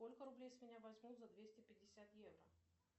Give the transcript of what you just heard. сколько рублей с меня возьмут за двести пятьдесят евро